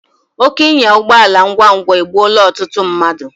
Oke ịnya ụgbọala ngwa ngwa egbụola ọtụtụ mmadu